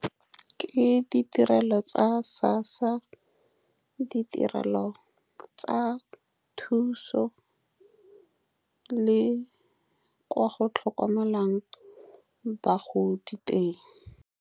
Ke ditirelo tsa SASSA, ditirelo tsa thuso le kwa go tlhokomelwang bagodi teng.